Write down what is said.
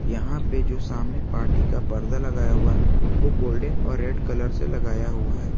यहां पे जो सामने पार्टी का परदा लगाया हुआ है वो गोल्डन और रेड कलर से लगाया हुआ है।